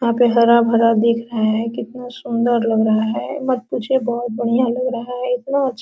यहां पे हरा-भरा दिख रहा है कितना सुंदर लग रहा है मत पूछिए बहुत बढ़िया लग रहा है इतना अच्छा --